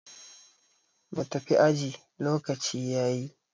mu tafi aji lokaci ya yi!